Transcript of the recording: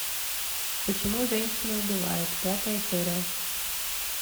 почему женщины убивают пятая серия